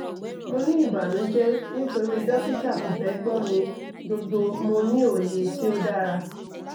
mo ni ibanujẹ nitori dokita ko fẹ gbọ mi gbogbo mo ni oye ti o dara